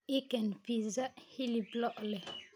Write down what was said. ii keen pissa hilib loo leh